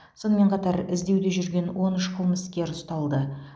сонымен қатар іздеуде жүрген он үш қылмыскер ұсталды